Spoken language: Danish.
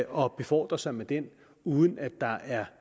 og befordre sig med den uden at der er